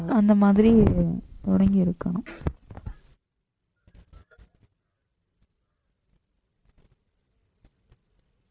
அந்த மாதிரி தொடங்கி இருக்கணும்